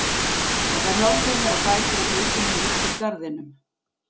Og þær hjálpuðu mér á fætur og fylgdu mér út úr garðinum.